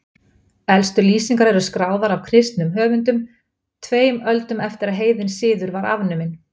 Aðrir náskyldustu ættingjar höfrunga eru klaufdýr, sem innihalda meðal annars kýr og kindur.